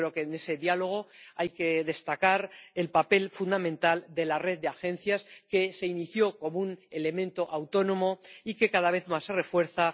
Yo creo que en ese diálogo hay que destacar el papel fundamental de la red de agencias, que se creó como un elemento autónomo y que, cada vez más, se refuerza.